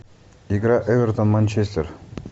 игра эвертон манчестер